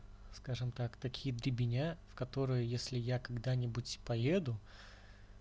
скажем так такие дребеня в которые если я когда-нибудь и поеду